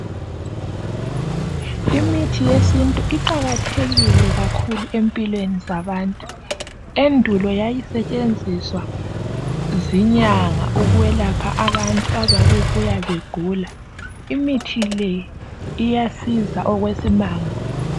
Imithi yesintu iqakathekile kakhulu empilweni zabantu endulo yayisetshenziswa zinyanga ukwelapha abantu ababe buya begula. Imithi le iyasiza okwesimanga.